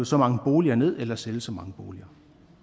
så mange boliger ned eller sælge så mange boliger